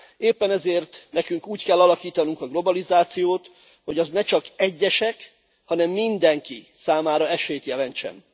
Éppen ezért nekünk úgy kell alakítanunk a globalizációt, hogy az ne csak egyesek, hanem mindenki számára esélyt jelentsen.